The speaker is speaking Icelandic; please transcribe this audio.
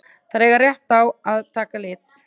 Þær eiga rétt að taka lit.